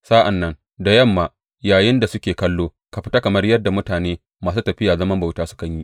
Sa’an nan da yamma, yayinda suke kallo, ka fita kamar yadda mutane masu tafiyar zaman bauta sukan yi.